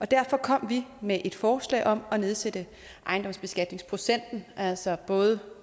derfor kom vi med et forslag om at nedsætte ejendomsbeskatningsprocenten altså både